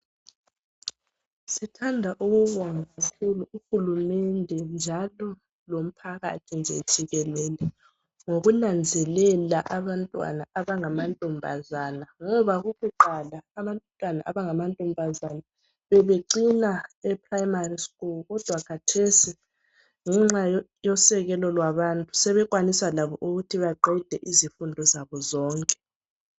Sithanda ukubonga sibili uhulumende, njalo lomphakathi nje jikelele, Ngokunanzelela abantwana abangamantombazana. Ngoba kukuqala, abantwana abangamantombazana, bebecina eprimary school. Kodwa khathesi, ngenxa yosekelo lwabantu, sebekwanisa labo ukuthi baqede izifundo zabo zonke.